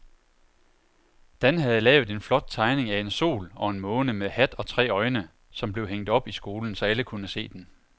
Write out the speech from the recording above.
Dan havde lavet en flot tegning af en sol og en måne med hat og tre øjne, som blev hængt op i skolen, så alle kunne se den.